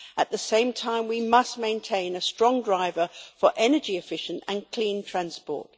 At the same time, we must maintain a strong driver for energy efficient and clean transport.